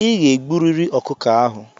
I ga-egburịrị ọkụkọ ahụ!